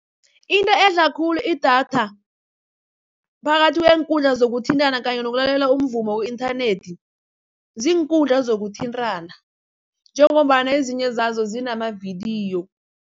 Into edla khulu idatha phakathi kweenkundla zokuthintana kanye nokulalela umvumo ku-inthanethi, ziinkundla zokuthintana njengombana ezinye zazo zinamavidiyo.